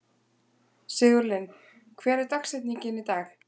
Sigurlinn, hver er dagsetningin í dag?